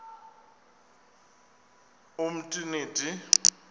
umtriniti